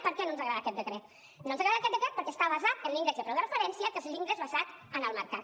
per què no ens agrada aquest decret no ens agrada aquest decret perquè està basat en l’índex del preu de referència que és l’índex basat en el mercat